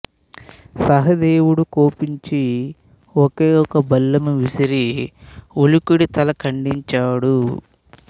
సహదేవుడు కోపించి ఒకే ఒక బల్లెము విసిరి ఉలూకుడి తల ఖండించాడు